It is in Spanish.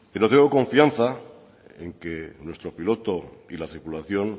pero tengo confianza en que nuestro piloto y la tripulación